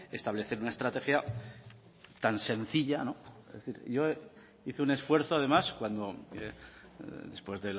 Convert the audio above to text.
establecer una estrategia tan sencilla es decir yo hice un esfuerzo además cuando después